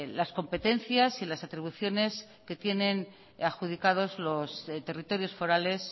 las competencias y las atribuciones que tienen adjudicados los territorios forales